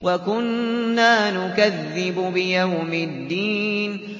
وَكُنَّا نُكَذِّبُ بِيَوْمِ الدِّينِ